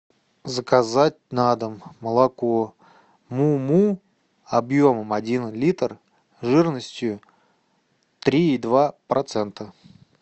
заказать на дом молоко му му объемом один литр жирностью три и два процента